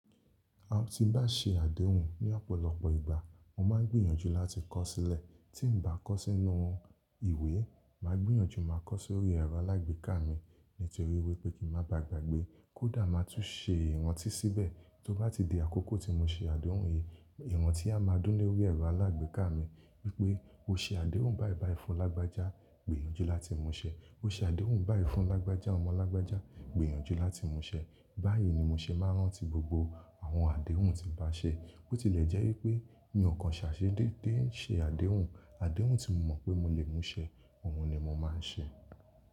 A ti n bá ṣe àdéhùn ní ọ̀pọ̀lọpọ̀ ìgbà, mo máa ń gbìyànjú láti kọ sílẹ̀. Tí n bá kọ sínú ìwé, màá gbìyànjú máa kọ sórí ẹ̀rọ alágbèéká mi nítorí wípé kí n má bàgbàgbé, kódà màá tún ṣe ìrántí síbẹ̀. Tó bá ti di àkókò tí mo ṣe àdéhùn yìí, ìrántí a máa dúnni lórí ẹ̀rọ alágbèéká mi wípé o ṣe àdéhùn báìbàì fún lágbájá, gbìyànjú láti mú ṣẹ. O ṣe àdéhùn báì fún lágbájá ọmọ lágbájá, gbìyànjú láti mú ṣẹ. Báyìí ni mo ṣe máa ń rántí gbogbo àwọn àdéhùn tí n bá ṣe. Ó tilẹ̀ jẹ́ wípé mi ọ̀kan ṣàṣe dédé ń ṣe àdéhùn. Àdéhùn tí mo mọ̀ pé mo lè mú ṣẹ, àwọn ni mo máa ń ṣe.